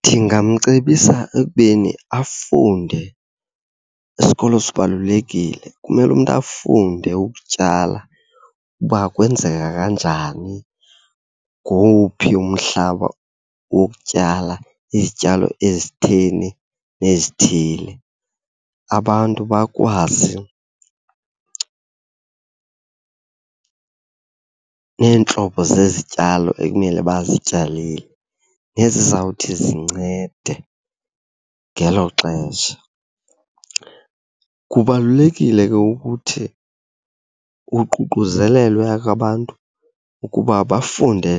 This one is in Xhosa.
Ndingamcebisa ekubeni afunde. Isikolo sibalulekile, kumele umntu afunde ukutyala uba kwenzeka kanjani, ngowuphi umhlaba wokutyala izityalo ezitheni nezithile. Abantu bakwazi neentlobo zezityalo ekumele bazityalile nezizawuthi zincede ngelo xesha. Kubalulekile ke ukuthi kuququzelelwe ke abantu ukuba bafunde